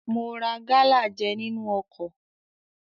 Mo ra gálà jẹ nínú ọkọ̀.